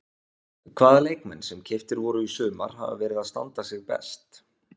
Hvaða leikmenn sem keyptir voru í sumar hafa verið að standa sig best?